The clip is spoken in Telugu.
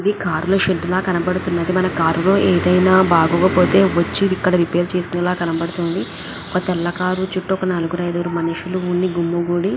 ఇది కార్ ల షెడ్ ల కనపడతుంది మన కార్ లో ఏదైనా బాగోకపోతే వచ్చి ఇక్కడ రిపేర్ చేసేలా కనపడతుంది ఒక తెల్ల కార్ చుట్టూ ఒక నలుగురు అయిదుగురు మనుషులు గుమికూడి--